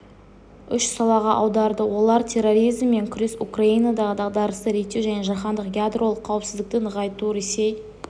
үш салаға аударды олар терроризммен күрес украинадағы дағдарысты реттеу және жаһандық ядролық қауіпсіздікті нығайту ресей